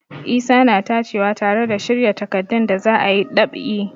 Isa na tacewa tare da shirya takardun da za a yi ɗab'i.